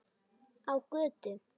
Á götu.